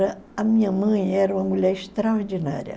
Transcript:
A minha mãe era uma mulher extraordinária.